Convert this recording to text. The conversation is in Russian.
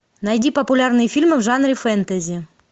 найди популярные фильмы в жанре фэнтези